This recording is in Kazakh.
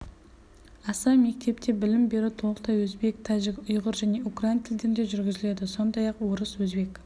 аса мектепте білім беру толықтай өзбек тәжік ұйғыр және украин тілдерінде жүргізіледі сондай-ақ орыс өзбек